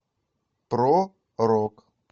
про рок